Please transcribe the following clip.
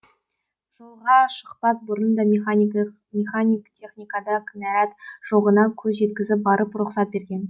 жолға шықпас бұрын да механик техникада кінәрат жоғына көз жеткізіп барып рұқсат берген